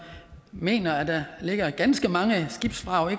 mener at der ligger ganske mange skibsvrag